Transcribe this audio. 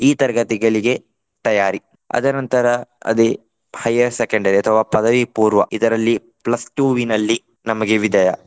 ಈ ತರಗತಿಗಳಿಗೆ ತಯಾರಿ. ಅದರ ನಂತರ ಅದೇ higher secondary ಅಥವಾ ಪದವಿಪೂರ್ವ ಇದರಲ್ಲಿ plus two ವಿನಲ್ಲಿ ನಮಗೆ ವಿದಾಯ.